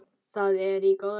Það er í góðu lagi